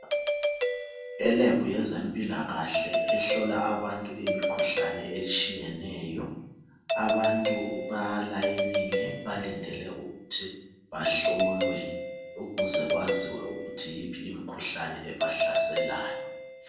Elebhu yezempilakahle ehlola abantu imikhuhlane etshiyeneyo, abantu balayinile balindele ukuthi bahlolwe ukuze kwaziwe ukuthi yiphi imikhuhlane ebahlaselayo.